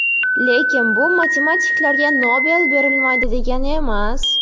Lekin bu matematiklarga Nobel berilmaydi degani emas.